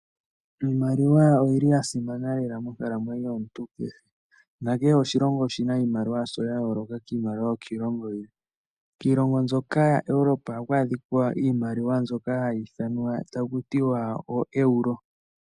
Iimaliwa oyi li ya simana lela monkalamwenyo yomuntu kehe. Nakehe oshilongo oshi na iimaliwa yasho ya yooloka kiimaliwa yokiilongo yilwe. Kiilongo mbyoka yaEuropa ohaku adhika iimaliwa mbyoka hayi ithanwa taku tiwa ooeuro.